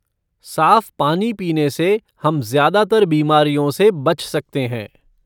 साफ़ पानी पीने से हम ज़्यादातर बीमारियों से बच सकते हैं।